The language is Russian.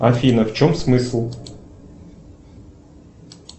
афина в чем смысл